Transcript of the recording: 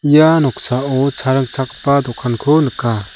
ia noksao cha ringchakgipa dokanko nika.